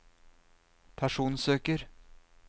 personsøker